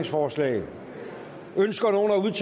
forslaget